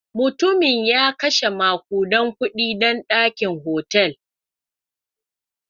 Mutumin ya kashe makudan kudade don wannan dakin hotel.